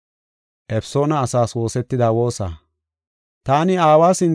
Taani aawa sinthan gulbatada woossey hessa gishosa.